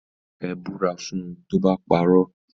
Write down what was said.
Ẹ búra fún tó bá parọ́.